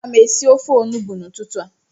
Aga m esi ofe Onugbu n'ụtụtụ a